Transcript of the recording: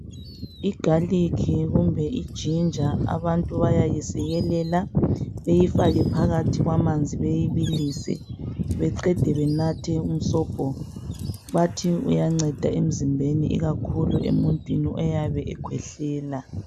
I garlic kumbe i ginger abantu bayayisikelele beyifake phakathi kwamanzi beyibilise beqede benathe umsobho bathi iyanceda emzimbeni ikakhulu emuntwini oyabe ekhwehlela.